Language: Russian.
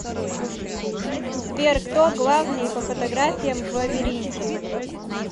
сбер кто главныи по фотографиям в лабиринте